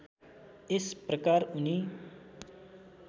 यस प्रकार उनी